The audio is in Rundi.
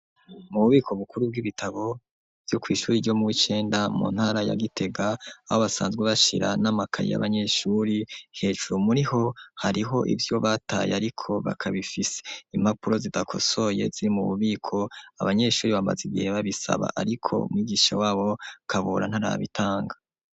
Mu bubiko bukuru bw'ibitabo vyo kw'ishuri ryo muw'icenda mu ntara ya gitega abo basanzwe bashira n'amakayi yabanyeshuri hejuru muri ho hariho ivyo bataye, ariko bakabifise impapuro zidakosoye ziri mu bubiko abanyeshuri bamaze igihe babisaba, ariko mwigisha wabo kabura ntarabitanga.